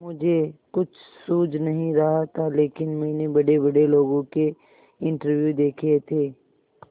मुझे कुछ सूझ नहीं रहा था लेकिन मैंने बड़ेबड़े लोगों के इंटरव्यू देखे थे